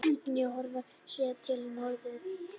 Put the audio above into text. Höfn í Hornafirði séð til norðvesturs.